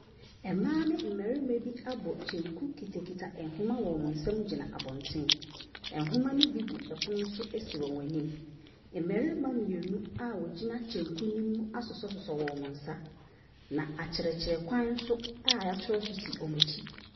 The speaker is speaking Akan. Ɛmbaa ne mbarema bi abɔ kyenku kita kita ɛnwoma wɔ ɔmo nsɛm gyina abɔnten. Ɛnwoma ne bi gu ɛpono so esi ɔmo enim. Mbɛrima mienu a wogyina kyenku ne mu asosɔsosɔ wɔn nsa na akyerɛkyerɛ kwan so a ya kyerɛw so si ɔmo ekyi.